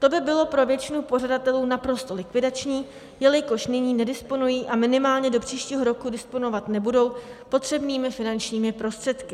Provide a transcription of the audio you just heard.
To by bylo pro většinu pořadatelů naprosto likvidační, jelikož nyní nedisponují a minimálně do příštího roku disponovat nebudou potřebnými finančními prostředky.